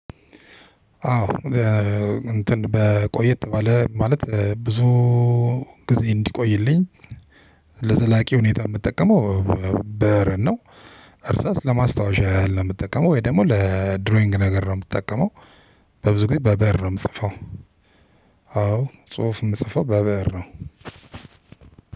አዎ እንትን በቆየት ባለ ማለት ብዙ ጊዜ እንዲቆይልኝ ለዘላቂ ሁኔታ የምጠቀመው በር ነው እርሳስ ለማስታወሻ ያህል ነው የምጠቀመው ወይ ደግሞ ለድሮይንግ ነገር ነው የምትጠቀመው በብዙ ጊዜ በብእር ነው የምጽፈው አዎ ጽሁፍ የምጽፈው በብእር ነው።